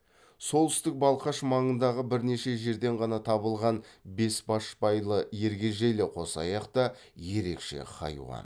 солтүстік балқаш маңындағы бірнеше жерден ғана табылған бесбашбайлы ергежейлі қосаяқ та ерекше хайуан